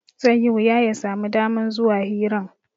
Zai yi wuya ya sami daman zuwa hiran